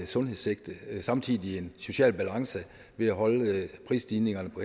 sundhedssigte og samtidig er der en social balance ved at holde prisstigningerne på